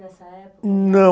Nessa época?ão?